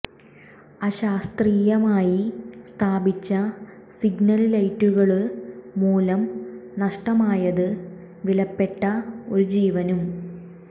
അശാസ്ത്രീയമായി സ്ഥാപിച്ച സിഗ്നല് ലൈറ്റുകള് മൂലം നഷ്ടമായത് വിലപ്പെട്ട ഒരു ജീവനും